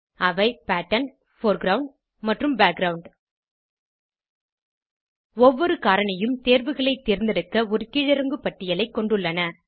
அவை pattern foreground மற்றும் background ஒவ்வொரு காரணியும் தேர்வுகளை தேர்ந்தெடுக்க ஒரு கீழிறங்கு பட்டியலைக் கொண்டுள்ளன